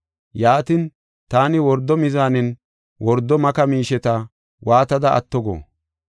Yaatin, taani wordo mizaanen wordo maka miisheta waatada atto go?